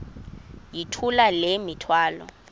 yithula le mithwalo